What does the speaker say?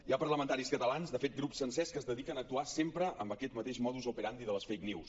hi ha parlamentaris catalans de fet grups sencers que es dediquen a actuar sempre amb aquest mateix modus operandi de les fake news